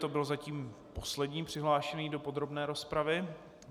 To byl zatím poslední přihlášený do podrobné rozpravy.